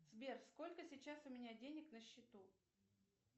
сбер сколько сейчас у меня денег на счету